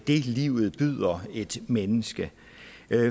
livet byder et menneske